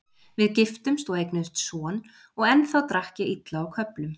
Við giftumst og eignuðumst son og ennþá drakk ég illa á köflum.